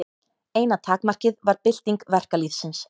Eina takmarkið var bylting verkalýðsins.